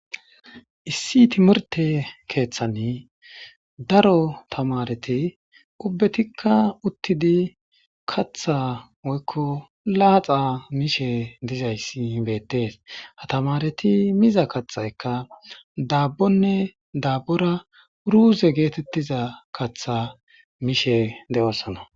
issi timirte keeththani daro tamareti ubbetikka uttidi katha woykko laaxa mishe dizayssi ibettees atamareti miza kathaykka daabbonne daabbora uruuze geetettiza katha mishe de7oosana